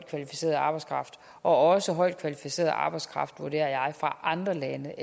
kvalificeret arbejdskraft og også højtkvalificeret arbejdskraft vurderer jeg fra andre lande